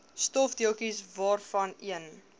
stofdeeltjies waarvan een